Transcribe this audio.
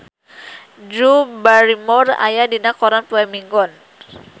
Drew Barrymore aya dina koran poe Minggon